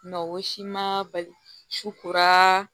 Mɛ o si ma bali suba